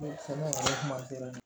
Ne kɔni kuma tɛmɛna